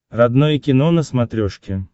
родное кино на смотрешке